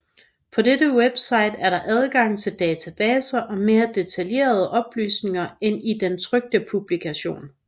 På dette website er der adgang til databaser og mere detaljerede oplysninger end i den trykte publikation